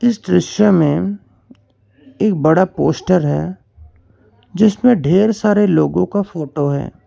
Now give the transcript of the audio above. इस दृश्य मे एक बड़ा पोस्टर है जिसमें ढेर सारे लोगों का फोटो है।